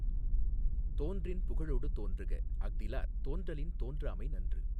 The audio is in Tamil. தோன்றின் புகழொடு தோன்றுக அஃதிலார் தோன்றலின் தோன்றாமை நன்று